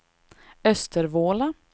Östervåla